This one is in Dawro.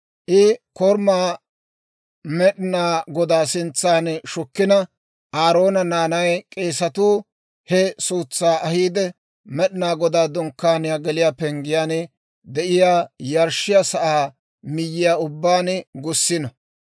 I korumaa Med'inaa Godaa sintsan shukkina; Aaroona naanay k'eesatuu he suutsaa ahiide, Med'inaa Godaa Dunkkaaniyaa geliyaa penggiyaan de'iyaa yarshshiyaa sa'aa miyyiyaa ubbaan gussino.